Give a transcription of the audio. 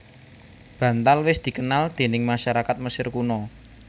Bantal wis dikenal déning masyarakat Mesir Kuna